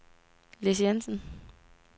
Lis Jensen